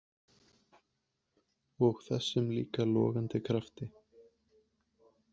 Og þessum líka logandi krafti.